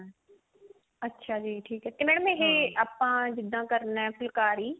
ਅੱਛਿਆ ਜੀ ਠੀਕ ਹੈ ਤੇ madam ਇਹ ਆਪਾਂ ਜਿਦਾਂ ਕਰਨਾ ਇਹ ਫੁਲਕਾਰੀ